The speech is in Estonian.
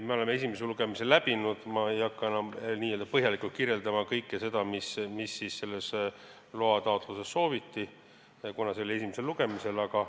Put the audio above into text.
Me oleme esimese lugemise läbinud, ma ei hakka enam n-ö põhjalikult kirjeldama kõike seda, mida selles loa taotluses sooviti, kuna see oli kõne all esimesel lugemisel.